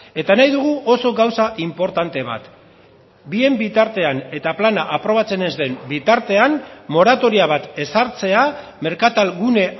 eta nahi dugu oso gauza inportante bat bien bitartean eta plana aprobatzen ez den bitartean moratoria bat ezartzea merkatal gune